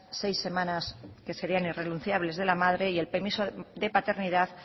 seis semanas que serían irrenunciables de la madre y el permiso de paternidad